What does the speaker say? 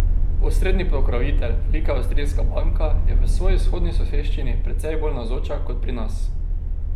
Osrednji pokrovitelj, velika avstrijska banka, je v svoji vzhodni soseščini precej bolj navzoča kot pri nas.